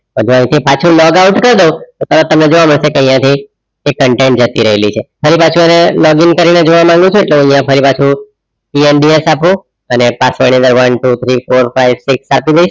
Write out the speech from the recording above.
તો ધારોકું પાછું logout કાર દાવ તો તરત તમને જોવા મદસે જે આઇયાહ થી એક હતી રાયલી છે હવે પાછું હવે login કરી ને જોવા મંગિયું છે હવે આઇયાહ ફરી પાછું આપું password હવે one, two, three, four, five, six